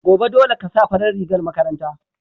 Gobe, dole ka sa farar rigar makaranta.